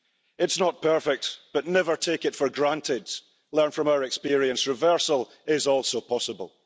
It's not perfect, but never take it for granted. Learn from our experience reversal is also possible.